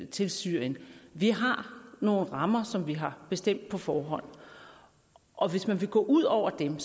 til syrien vi har nogle rammer som vi har bestemt på forhånd og hvis man vil gå ud over dem